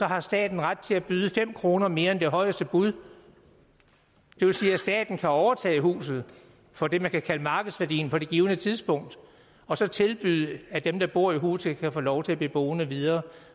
har staten ret til at byde fem kroner mere end højeste bud det vil sige at staten kan overtage huset for det man kan kalde markedsværdien på det givne tidspunkt og så tilbyde at dem der bor i huset kan få lov til fortsat at blive boende